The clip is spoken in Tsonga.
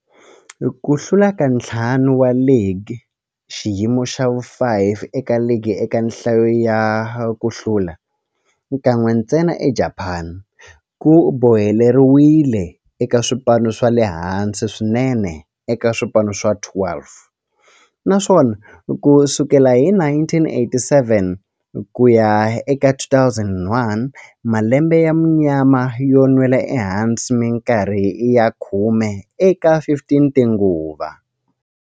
Ku hlula ka ntlhanu wa ligi, xiyimo xa vu-5 eka ligi eka nhlayo ya ku hlula, kan'we ntsena eJapani, ku boheleriwile eka swipano swa le hansi swinene eka swipano swa 12, naswona ku sukela hi 1987 ku ya eka 2001, malembe ya munyama yo nwela ehansi minkarhi ya khume eka 15 tinguva.